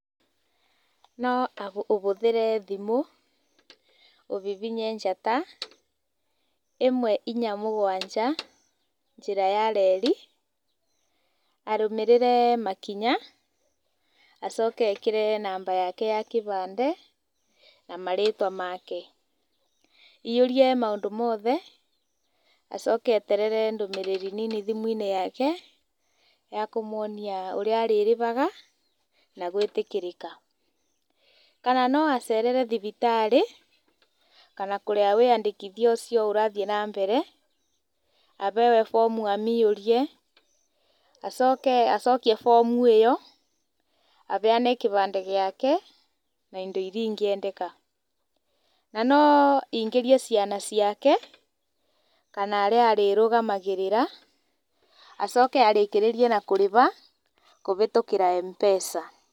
No ũhũthĩre thimũ ũhihinye njata ĩmwe inya mũgwanja njĩra ya reri, arũmĩrĩre makinya acoke ekĩre namba yake ya kĩbandĩ na marĩtwa make, aihũrie maũndũ make mothe acoke eterere ndũmĩrĩri nini thimũ-inĩ yake ya kũmwonia ũrĩa arĩrĩhaga na gwĩtĩkĩrĩka. Kana no acerere thibitarĩ kana kũrĩa wĩyandĩkithia ũcio ũrathiĩ na mbere aheyo bomu amĩihũrie, acoke acokie bomu ĩyo aneyane kĩbandĩ gĩake na indo iria ingĩendeka. Na no aingĩrie ciana ciake kana arĩa arĩrũgamagĩrĩra acoke arĩkĩrĩrie na kũrĩha kũhĩtũkĩra M-pesa.